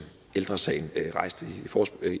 ældre sagen rejste